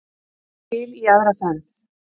Til í aðra ferð.